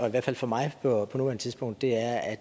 i hvert fald for mig på nuværende tidspunkt er at